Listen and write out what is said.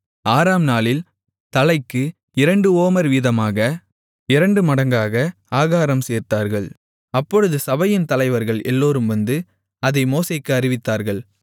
ஆறாம் நாளில் தலைக்கு இரண்டு ஓமர் வீதமாக இரண்டுமடங்காக ஆகாரம் சேர்த்தார்கள் அப்பொழுது சபையின் தலைவர்கள் எல்லோரும் வந்து அதை மோசேக்கு அறிவித்தார்கள்